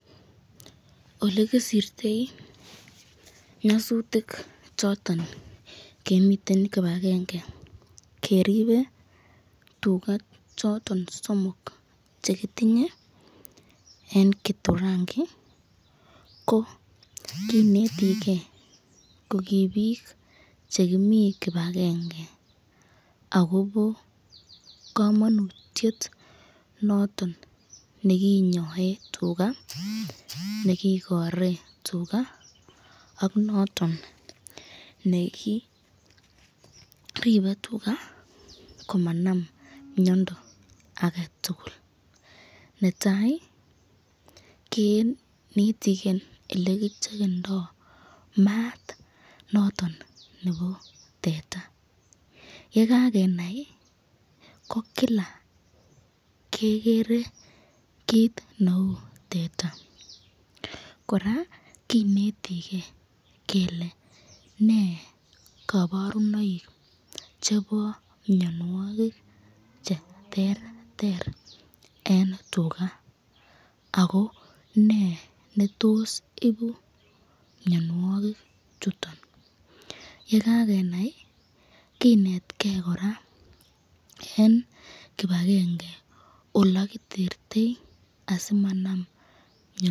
Ole kisirtoi nyasutik choton kimiten kipagenge keribe tuga choton somok che kitinye en Gitunguri kineti ge ko kii biik che kimi kipagenge agobo komonutiet noton ne kinyoen tuga, nekikore tuga ak noton ne kiribe tuga komanam miondo age tugul. Netai kenitige ele kicheckendo maat noton nebo teta ye kagenai ko kila kegere kiit neu teta. Kora kinetige kele ne koborunoik chebo mianwogik che terter en tuga ago ne netos ibu mianwogik chuto. Ye kagenai kinetge kora en kipagenge ole kitertoi asimanam miondo.